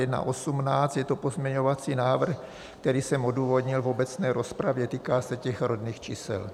Je to pozměňovací návrh, který jsem odůvodnil v obecné rozpravě, týká se těch rodných čísel.